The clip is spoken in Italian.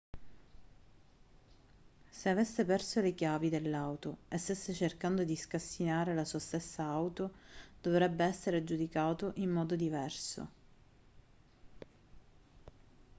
se avesse perso le chiavi dell'auto e stesse cercando di scassinare la sua stessa auto dovrebbe essere giudicato in modo diverso